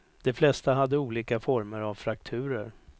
De flesta hade olika former av frakturer.